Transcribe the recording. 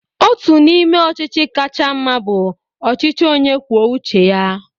Ọtu n'ime ochichi kacha mma bu ọchichi onye kwuọ uche ya.